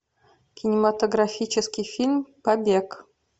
кинематографический фильм побег